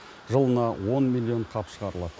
жылына он миллион қап шығарылады